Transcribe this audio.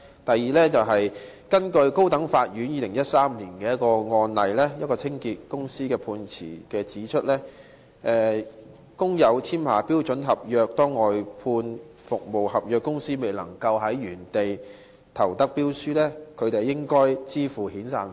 第二，高等法院在2013年一宗涉及一間清潔公司的案件的判詞中指出，如工友簽下標準僱傭合約，當外判商未能在原來的地方中標時，他們應向工友支付遣散費。